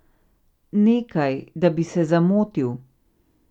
Nekaj, da bi se zamotil.